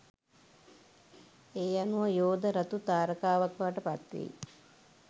ඒ අනුව යෝධ රතු තාරකාවක් බවට පත්වෙයි